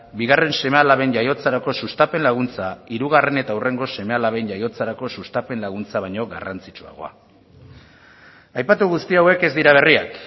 bigarren seme alaben jaiotzarako sustapen laguntza hirugarren eta hurrengo seme alaben jaiotzarako sustapen laguntza baino garrantzitsuagoa aipatu guzti hauek ez dira berriak